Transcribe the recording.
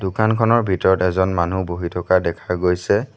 দোকানখনৰ ভিতৰত এজন মানুহ বহি থকা দেখা গৈছে।